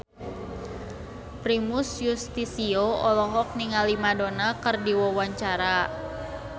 Primus Yustisio olohok ningali Madonna keur diwawancara